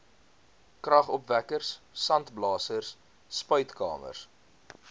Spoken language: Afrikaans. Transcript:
kragopwekkers sandblasers spuitkamers